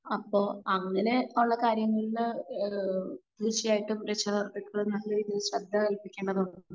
അപ്പൊ അങ്ങനെ ഉള്ള കാര്യങ്ങളില് ഏഹ് തീർച്ചയായിട്ടും രക്ഷ കർത്താക്കൾ നല്ല രീതിയിൽ ശ്രെദ്ധ കല്പിക്കേണ്ടതുണ്ട്.